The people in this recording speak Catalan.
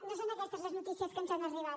no són aquestes les notícies que ens han arribat